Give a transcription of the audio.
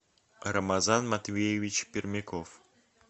рамазан матвеевич пермяков